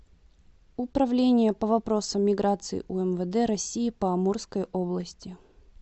управление по вопросам миграции умвд россии по амурской области